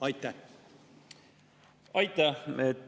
Aitäh!